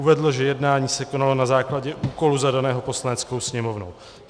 Uvedl, že jednání se konalo na základě úkolu zadaného Poslaneckou sněmovnou.